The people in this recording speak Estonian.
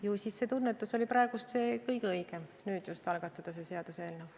Ju siis see tunnetus oli praegu see kõige õigem – nüüd just algatada see seaduseelnõu.